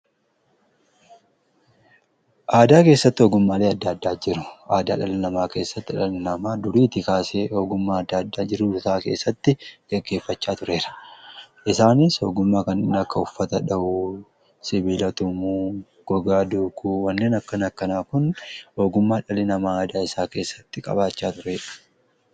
Aadaa keessatti ogummaalee adda addaa jiru. Aadaa dhalii namaa keessatti dhalli namaa duriiti kaasee ogummaa adda addaa jiruu fi jireenya keessatti geggeeffachaa tureera. Isaanis ogummaa kan akka uffata dhawuu sibiila tumuu gogaa duuguu wanneen akkana akkanaa kun ogummaa dhalli namaa aadaa isaa keessatti qabaachaa turedha.